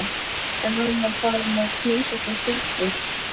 En hann var farinn að hnýsast í stúlkur.